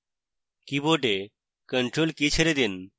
কীবোর্ডে ctrl key ছেড়ে দিন